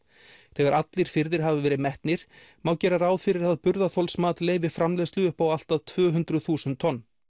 þegar allir firðir hafa verið metnir má gera ráð fyrir að burðarþolsmat leyfi framleiðslu upp á allt að tvö hundruð þúsund tonn